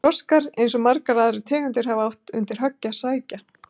Froskar, eins og margar aðrar tegundir, hafa átt undir högg að sækja.